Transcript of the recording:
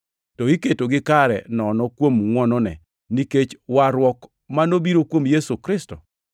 to iketogi kare nono kuom ngʼwonone, nikech warruok ma nobiro kuom Kristo Yesu.